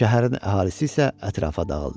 Şəhərin əhalisi isə ətrafa dağıldı.